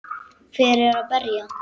Hver var að berja?